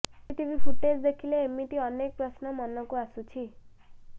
CCTV footage ଦେଖିଲେ ଏମିତି ଅନେକ ପ୍ରଶ୍ନ ମନକୁ ଆସୁଛି